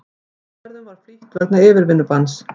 Flugferðum flýtt vegna yfirvinnubanns